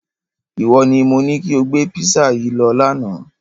Iwọ ni mo ni kí o gbé písà yìí lọ lána!